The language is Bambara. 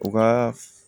U ka